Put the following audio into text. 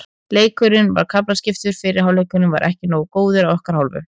Leikurinn var kaflaskiptur, fyrri hálfleikurinn var ekki nógu góður að okkar hálfu.